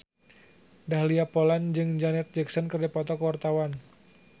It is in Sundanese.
Dahlia Poland jeung Janet Jackson keur dipoto ku wartawan